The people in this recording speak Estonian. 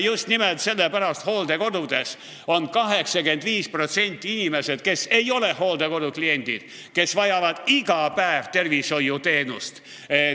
Just nimelt sellepärast on hooldekodudes olevatest inimestest 85% sellised, kes ei peaks olema hooldekodu kliendid, kes vajavad iga päev tervishoiuteenust.